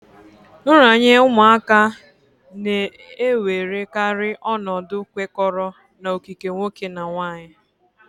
Nranye ụmụaka na-ewerekarị ọnọdụ kwekọrọ na okike nwoke nà nwaanyị